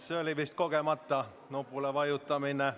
See oli vist kogemata nupule vajutamine.